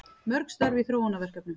Mörg störf í þróunarverkefnum